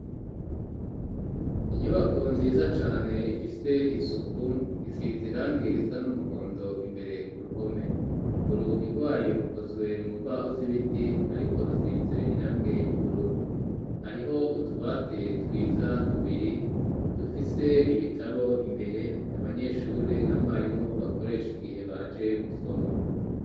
Inyubako nziza cane ,ifise isuku isize irangi isa n'umuhondo ,imbere ku ruhome urugi irwayo rukozwe mu mbaho z'ibiti ,ariko rusize irangi ry'ubururu ,hariho utubati twiza tubiri ,tufise ibitabo imbere ,abanyeshuri na mwarimu bakoresha igihe baje gusoma.